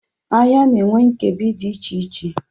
Ahịa na-enwe nkebi dị iche iche.